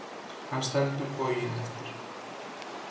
Hann stendur boginn eftir